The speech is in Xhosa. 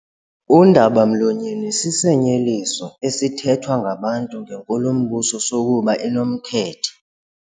Undaba-mlonyeni sisinyeliso esithethwa ngabantu ngenkulumbuso sokuba inomkhethe.